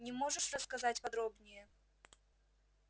не можешь рассказать подробнее